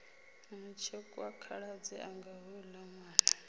mutshekwa khaladzi anga houla nwana